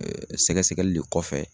Ɛɛ Sɛgɛsɛgɛli le kɔfɛ